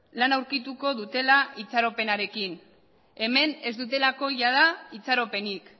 lana aurkituko dutela itxaropenarekin hemen ez dutelako jada itxaropenik